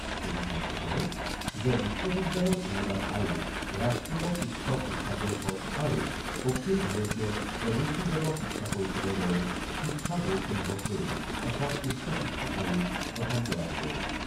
শ্ৰীনিচাংকে কয় যে বিশ্ববিদ্যালয় অনুদান আয়োগ, ৰাষ্ট্ৰীয় শিক্ষক শিক্ষা পৰিষদ আৰু অখিল ভাৰতীয় প্ৰযুক্তিগত শিক্ষা পৰিষদৰ দৰে শিক্ষা বোৰ্ডসমূহক লৈ এখন উচ্চশিক্ষা আয়োগ গঠন কৰা হ'ব।